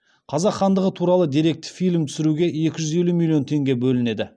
қазақ хандығы туралы деректі фильм түсіруге екі жүз елу миллион теңге бөлінеді